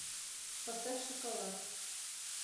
поставь шоколад